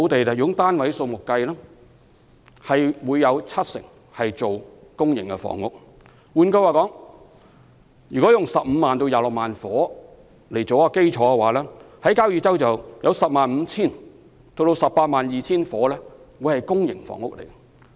就房屋單位數目而言，若在交椅洲可以興建15萬至26萬個住屋單位，當中 105,000 到 182,000 個屬公營房屋。